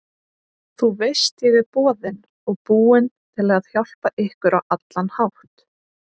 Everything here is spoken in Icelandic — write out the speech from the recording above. Þú veist ég er boðinn og búinn til að hjálpa ykkur á allan hátt.